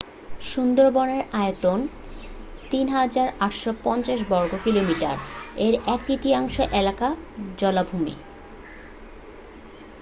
সুন্দরবনের আয়তন 3,850 বর্গ কিলোমিটার এর এক-তৃতীয়াংশ এলাকা জলাভূমি